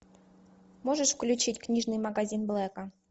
можешь включить книжный магазин блэка